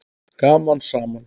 Gaman saman!